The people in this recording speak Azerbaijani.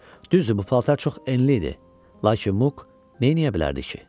Düzdür bu paltar çox enli idi, lakin Muk neyniyə bilərdi ki?